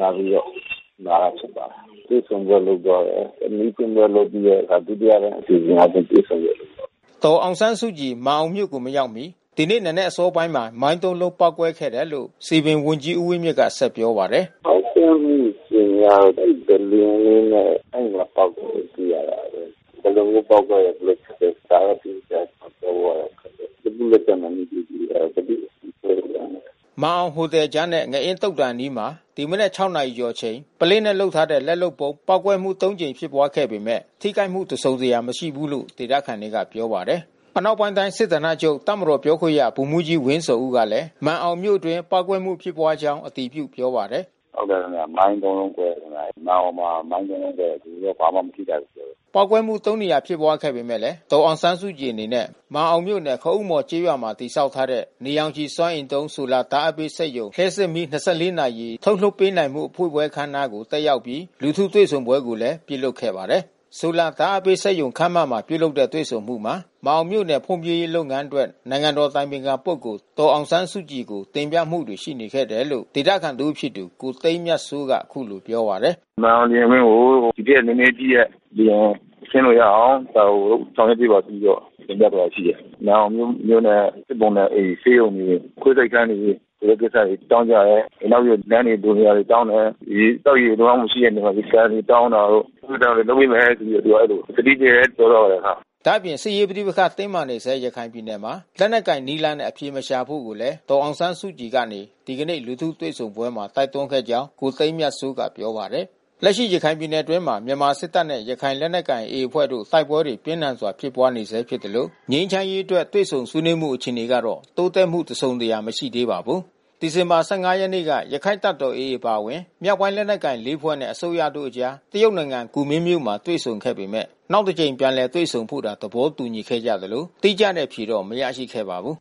တာဖြစ်ပါတယ်။ တွေ့ဆုံပွဲလုပ်သွားတယ်။ မီးထွန်း ပွဲလုပ်ပြီးတော့ ဒုတိယအပိုင်းအစီစဉ်နဲ့တွေ့ဆုံပွဲလုပ်တယ်။” ဒေါ်အောင်ဆန်းစုကြည် မာန်အောင်မြို့ကိုမရောက်မီ ဒီနေ့ နံနက်အစောပိုင်းမှာ မိုင်းသုံးလုံး ပေါက်ကွဲခဲ့တယ်လို့ စည်ပင်ဝန်ကြီးဦးဝင်းမြင့်ကပြောပါတယ်။ “ပေါက်ကွဲမှု အခြေအနေကတော့ ပုလင်းလေးနဲ့ အဲဒီမှာပေါက်တယ်လို့သိရပါတယ်။ ဘယ်လိုမျိုးပေါက်ကွဲတယ်ဆိုတာ ဒါတော့တိတိကျကျပြောဖို့ခက်တယ်။ လက်ပူးလက်ကြပ် မမိဘူးဆိုတော့ ဘယ်သူ့မှပြောလို့မရဘူး။” မာန်အောင်ဟိုတယ်ကြားနဲ့ ငအင်းသုသာန်အနီးမှာ ဒီမနက်(၆)နာရီကျော် အချိန်မှာပုလင်းနဲ့လုပ်ထားတဲ့လက်လုပ်ဗုံး ပေါက်ကွဲမှု(၃)ကြိမ်ဖြစ်ပွားခဲ့ပေမဲ့ ထိခိုက်မှု တစုံတရာမရှိဘူးလို့လည်း ဒေသခံတွေကပြောပါတယ်။ အနောက်ပိုင်းတိုင်းစစ်ဌာနချုပ်တပ်မတော်ပြောခွင့်ရဗိုလ်မှူးကြီးဝင်းဇော်ဦးကလဲ မာန်အောင်မြို့အတွင်းပေါက်ကွဲမှုဖြစ်ကြောင်းအတည်ပြုပြောပါတယ်။ “ဟုတ်တယ်ခင်ဗျာ။ မိုင်း(၃)လုံးကွဲတယ်ခင်ဗျာ။ မာန်အောင်မှာမိုင်း(၃)လုံးကွဲတယ်။ လူတော့ဘာမှမထိခိုက်ဘူး ပြောတယ်။ ပေါက်ကွဲမှုသုံးနေရာဖြစ်ပွားခဲ့ပေမဲ့ ဒေါ်အောင်ဆန်းစုကြည်အနေနဲ့ မာန်အောင်မြို့နယ်ခအုန်းမော်ကျေးရွာမှာ တည်ဆောက်ထားတဲ့ နေရောင်ခြည်စွမ်းအင်သုံး ဆိုလာဓာတ်အားပေးစက်ရုံ လျှပ်စစ်မီး ၂၄ နာရီထုတ်လွှတ်ပေး နိုင်မှုဖွင့်ပွဲအခမ်းအနားကိုတက်ရောက်အပြီး လူထုတွေ့ဆုံပွဲကိုလဲပြုလုပ်ခဲ့တာပါ။ ဆိုလာဓာတ်အားပေးစက်ရုံ ခန်းမမှာပြုလုပ်တဲ့တွေ့ဆုံမှုမှာ မာန်အောင်မြို့နယ်ဖွံ့ဖြိုးရေးလုပ်ငန်းအတွက် နိုင်ငံတော် အတိုင်ပင်ခံပုဂ္ဂိုလ် ဒေါ်အောင်ဆန်းစုကြည်ကိုတင်ပြမှုတွေရှိနေတယ်လို့ ဒေသခံတဦးဖြစ်သူ ကိုသိန်းမြတ်စိုး ကအခုလိုပြောပါတယ်။ “မာန်အောင်လေယာဉ်ကွင်းကို ဒီထက်နဲနဲကြီးတဲ့လေယာဉ်ဆင်းလို့ရအောင် ဒါကိုဆောင်ရွက် ပေးပါဆိုပြီးတော့ တင်ပြ သွား တာရှိတယ်။ မာန်အောင်မြို့နဲ့စုပေါင်းတဲ့အိမ် ဆေးရုံတွေ ခွဲစိတ်ခန်းတွေ ဆိုတဲ့ကိစ္စတွေ တောင်းကြတယ်။ လမ်း တွေပြင်စရာတွေတောင်းတယ်။ သောက်ရေကောင်းကောင်း မရှိတဲ့နေရာတွေမှာ ကန်တွေတောင်းတာတို့ သူတို့ဒါတွေ လုပ်ပေးမယ်ဆိုပြီးတော့ သူကအဲဒီလို ကတိပေးတယ် ပြောသွားတယ်အဲဒီလို။” ဒါ့အပြင် စစ်ရေးပဋိပက္ခတင်းမာနေတဲ့ ရခိုင်ပြည်နယ်မှာ လက်နက်ကိုင်နည်းလမ်းနဲ့အဖြေမရှာဖို့ကိုလဲ ဒေါ်အောင် ဆန်းစုကြည်ကနေ ဒီကနေ့လူထုတွေ့ဆုံပွဲမှာတိုက်တွန်းခဲ့ကြောင်း ကိုသိန်းမြတ်စိုး ကပြောပါတယ်။ လက်ရှိရခိုင်ပြည်နယ်အတွင်းမှာ မြန်မာစစ်တပ်နဲ့ရခိုင်လက်နက်ကိုင်AAအဖွဲ့တို့ တိုက်ပွဲတွေပြင်းထန်စွာ ဖြစ်နေ ဆဲဖြစ်သလို ငြိမ်းချမ်းရေးအတွက်တွေ့ဆုံဆွေးနွေးမှုအခြေအနေကတော့ တိုးတက်မှုတစုံတရာ မရှိသေးပါဘူး။ ဒီဇင်ဘာ(၁၅)ရက်နေ့က ရခိုင်တပ်တော်AA အပါဝင် မြောက်ပိုင်းလက်နက်ကိုင် ၄ ဖွဲ့နှင့် အစိုးရတို့အကြား တရုတ်နိုင်ငံ ကူမင်းမြို့မှာ တွေ့ဆုံခဲ့ပေမဲ့ နောက်တစ်ကြိမ်ပြန်လည်တွေ့ဆုံဖို့သာ သဘောတူခဲ့ကြသလို တိကျတဲ့အဖြေမရရှိခဲ့ ပါဘူး